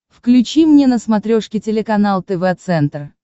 включи мне на смотрешке телеканал тв центр